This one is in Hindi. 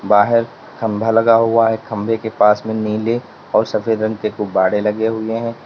बाहर खम्भा लगा हुआ है खंभे के पास में नीले और सफेद रंग के गुब्बारे लगे हुए हैं।